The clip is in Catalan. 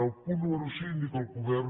el punt número cinc dir que el govern